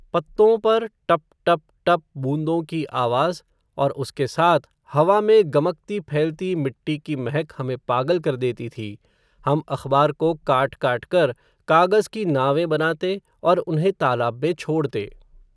पत्तों पर, टप टप टप, बूंदों की आवाज़, और उसके साथ, हवा में, गमकती फैलती मिट्टी की महक, हमें पागल कर देती थी, हम अख़बार को काट काट कर, कागज़ की नावें बनाते, और उन्हें तालाब में छोड़ते